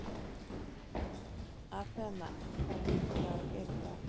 Athena, hvaða vikudagur er í dag?